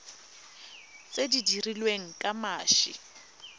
tse di dirilweng ka mashi